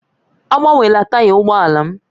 Agbanwela taị ụgbọ ala m!